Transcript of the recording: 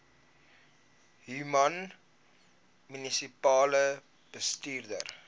human munisipale bestuurder